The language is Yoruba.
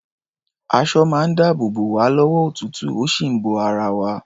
Aṣọ máa ń dáàbò bò wá lọ́wọ́ òtútù, ó sì ń bo ara wa.